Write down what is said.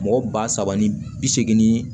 Mɔgɔ ba saba ni bi seegin